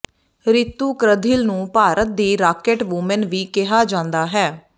ਰਿਤੂ ਕ੍ਰਧਿਲ ਨੂੰ ਭਾਰਤ ਦੀ rocket woman ਵੀ ਕਿਹਾ ਜਾਂਦਾ ਹੈ